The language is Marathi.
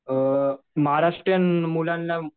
अ महाराष्ट्रीयन मुलांना